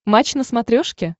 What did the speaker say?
матч на смотрешке